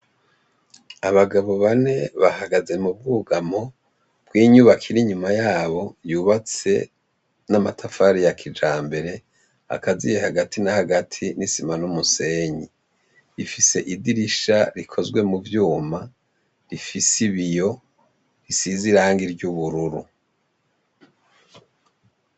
Abagabo bane bahagaze mu bwugamo bw'inyubako iri inyuma yabo yubatse n'amatafari ya kijambere akaziye hagati na hagati, n'isima, n'umusenyi, ifise idirisha rikozwe mu vyuma rifise ibiyo bisize irangi ry'ubururu.